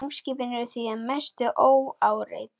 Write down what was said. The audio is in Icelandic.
Geimskipin eru því að mestu óáreitt.